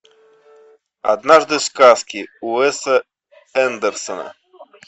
однажды в сказке уэсса андерсона